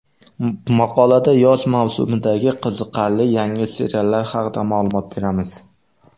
Maqolada yoz mavsumidagi qiziqarli yangi seriallar haqida ma’lumot beramiz.